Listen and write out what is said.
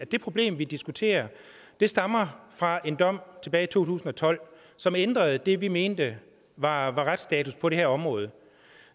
at det problem vi diskuterer stammer fra en dom tilbage tusind og tolv som ændrede det vi mente var retsstatus på det her område